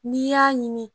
N'i y'a ɲini